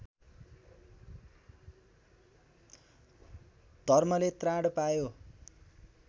धर्मले त्राण पायो